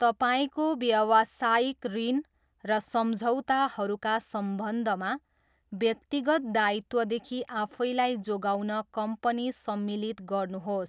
तपाईँको व्यवसायिक ऋण र सम्झौताहरूका सम्बन्धमा व्यक्तिगत दायित्वदेखि आफैलाई जोगाउन कम्पनी सम्मिलित गर्नुहोस्।